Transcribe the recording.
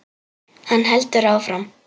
Hann heldur áfram.